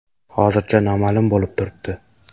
Hozircha noma’lum bo‘lib turibdi”.